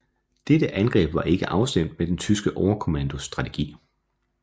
Dette angreb var ikke afstemt med den tyske overkommandos strategi